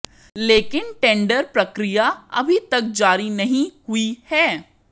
लेकिन टेंडर प्रक्रिया अभी तक जारी नहीं हुई है